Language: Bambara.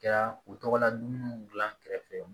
Kɛra u tɔgɔla dumuniw di an kɛrɛfɛ